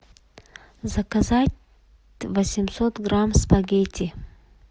заказать восемьсот грамм спагетти